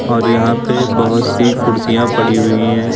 और यहां पे बहुत सी कुर्सियां पड़ी हुई हैं।